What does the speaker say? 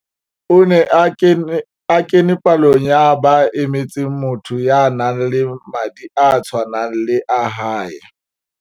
O ne a kene palong ya ba emetseng motho ya nang le madi a tshwanang le a hae.